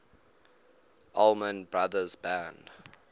allman brothers band